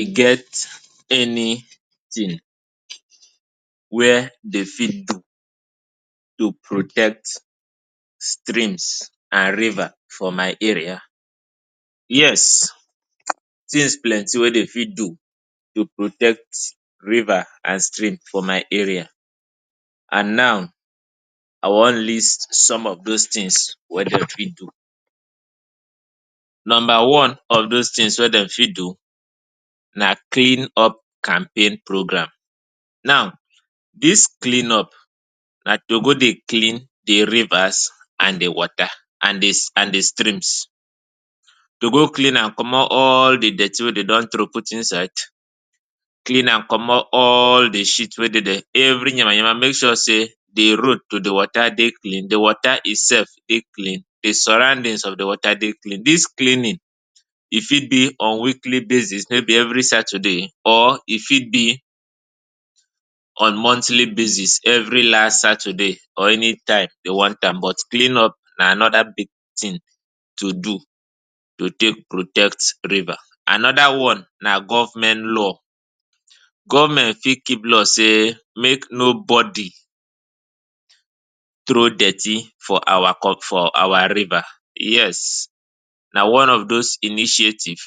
E get anytin wia dey fit to protect streams and rivers for my area? Yes, tins plenty wey dem fit do to protect rivers and streams for my area and now I wan list some of those tins wey dem fit do. Number one of those tins wey dem fit do na clean up campaign program. Now, dis clean up na to go dey clean di rivers and di water and di streams to go clean am commot all di dirty wey de don throw put inside. Clean am commot all di shit wey dey dia, every yamayama make sure say, di road to di water dey clean, di water itself dey clean, di surroundings of di water dey clean. Dis cleaning e fit dey on weekly basis maybe every Saturday or e fit be on monthly basis every last Saturday or anytime de wan am but clean up na anoda big tin to do to take protect river. Anoda one na government law, government fit keep law say make nobody throw dirty for our con for our river. Yes, na one of dose initiative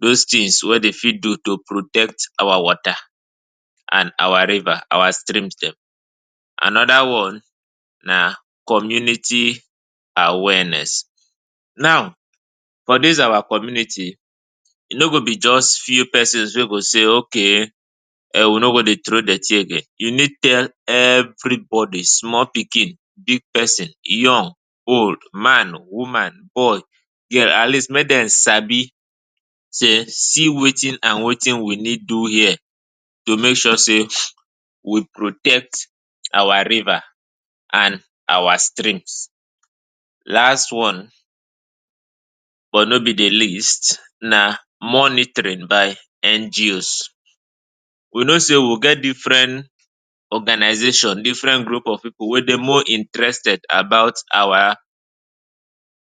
dose tins wey dem fit do to protect our water and our river, our streams dem. Anoda one na community awareness now for dis our community e no go be just few pesins wey go say okay um we no go dey throw dirty again you need tell everybody, small pikin, big persin, young, old, man, woman, boy, girl, at least make dem sabi sey see watin and watin we need do here to make sure say we protect our river and our streams. Last one but no be di least na monitoring by NGOs, we know say we get different organisations, different group of pipu wey dey more interested about our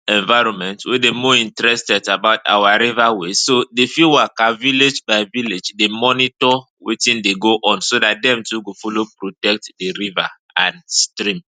enviroment we dey more interested about our river ways so dey fit waka village by village to dey monitor watin dey go on so dat dem too go follow protect di river and stream.